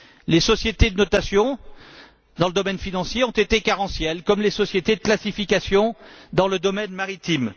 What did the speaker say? Les sociétés de notation dans le domaine financier ont été carentielles comme les sociétés de classification dans le domaine maritime.